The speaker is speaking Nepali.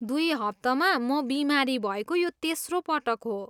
दुई हप्तामा म बिमारी भएको यो तेस्रो पटक हो।